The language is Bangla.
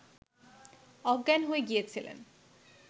অজ্ঞান হয়ে গিয়েছিলেন